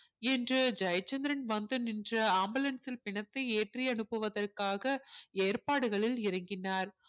என்று ஜெயச்சந்திரன் வந்து நின்ற ambulance ல் பிணத்தை ஏற்றி அனுப்புவதற்காக ஏற்பாடுகளில் இறங்கினார்